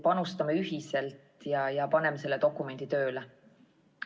Panustame ühiselt ja paneme selle dokumendi tööle.